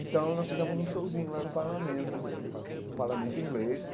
Então, nós fizemos um showzinho lá no parlamento, eh um parlamento inglês.